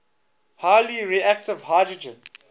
highly reactive hydrogen